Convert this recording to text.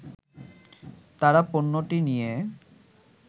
তারা পণ্যটি নিয়ে